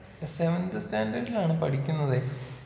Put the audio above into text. ഇപ്പൊ സെവൻത്ത് സ്റ്റാൻഡേർഡിലാണ് പഠിക്കുന്നതെയ്.